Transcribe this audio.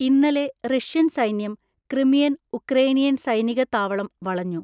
ഇന്നലെ റഷ്യൻ സൈന്യം Crimean Ukrainian സൈനിക താവളം വളഞ്ഞു.